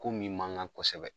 Ko min mankan kosɛbɛ